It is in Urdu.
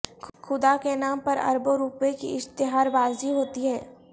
خدا کے نام پر اربوں روپے کی اشتہار بازی ہوتی ہے